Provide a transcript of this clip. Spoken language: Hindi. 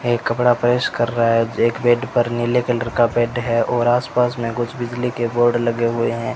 एक कपड़ा प्रेस कर रहा है एक बेड पर नीले कलर का बेड है और आसपास में कुछ बिजली के बोर्ड लगे हुए हैं।